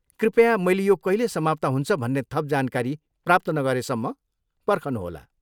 कृपया मैले यो कहिले समाप्त हुन्छ भन्ने थप जानकारी प्राप्त नगरेसम्म पर्खनुहोला।